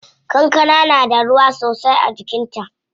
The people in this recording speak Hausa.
Kankana na da ruwa sosai a cikin ta.